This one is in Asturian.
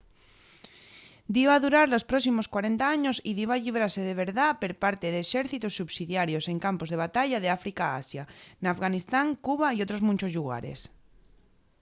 diba durar los próximos 40 años y diba llibrase de verdá per parte d’exércitos subsidiarios en campos de batalla d’áfrica a asia n’afganistán cuba y otros munchos llugares